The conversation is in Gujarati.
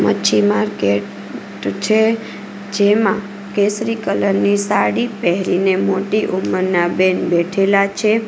મચ્છી માર્કેટ છે જેમાં કેસરી કલરની સાડી પેહરીને મોટી ઉંમરના બેન બેઠેલા છે.